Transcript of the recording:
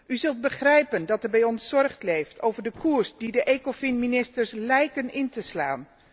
U zult begrijpen dat er bij ons zorg leeft over de koers die de ECOFIN ministers lijken in te slaan.